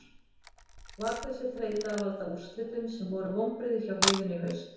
Var þessi þreyta að valda úrslitum sem voru vonbrigði hjá liðinu í haust?